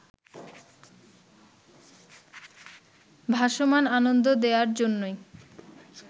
ভাসমান আনন্দ দেওয়ার জন্যই